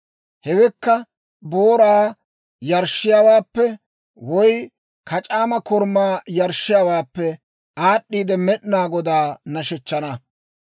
Hewekka, booraa yarshshiyaawaappe woy kac'aama korumaa yarshshiyaawaappe aad'd'iide, Med'inaa Godaa nashshechchana.